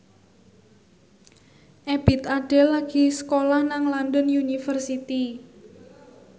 Ebith Ade lagi sekolah nang London University